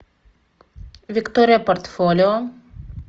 виктория портфолио